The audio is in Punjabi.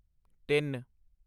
ਤਿੱਨ